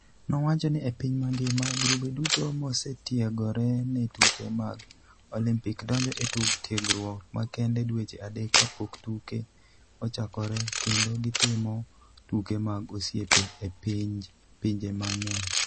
Nowacho ni e piny mangima, grube duto mosetiegore ne tuke mag Olimpik donjo e tiegruok makende dweche adek kapok tuke ochakore kendo gitimo tuke mag osiep e pinje mang'eny.